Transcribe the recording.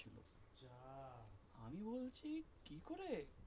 আমি বলচ্ছি কি করে